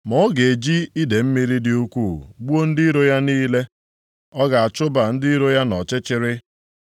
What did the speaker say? ma ọ ga-eji idee mmiri dị ukwuu gbuo ndị iro ya + 1:8 Ọ bụ Ninive ka a na-ekwu ihe banyere ya nʼebe niile, ọ ga-achụba ndị iro ya nʼọchịchịrị.